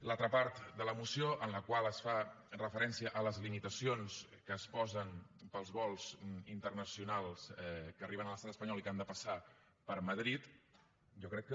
l’altra part de la moció en la qual es fa referència a les limitacions que es posen per als vols internacionals que arriben a l’estat espanyol i que han de passar per madrid jo crec que